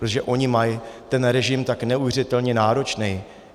Protože oni mají ten režim tak neuvěřitelně náročný.